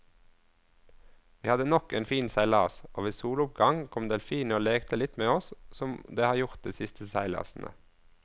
Vi hadde nok en fin seilas, og ved soloppgang kom delfinene og lekte litt med oss som de har gjort de siste seilasene.